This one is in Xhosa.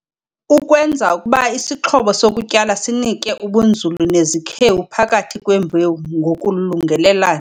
Ukwenza ukuba isixhobo sokutyala sinike ubunzulu nezikhewu phakathi kwembewu ngokulungelelana.